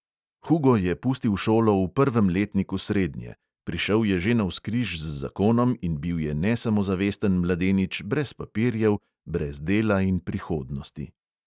Hugo je pustil šolo v prvem letniku srednje, prišel je že navzkriž z zakonom in bil je nesamozavesten mladenič brez papirjev, brez dela in prihodnosti.